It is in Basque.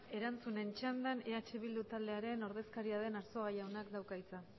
erantzunen txandan eh bildu taldearen ordezkaria den arzuaga jaunak dauka hitza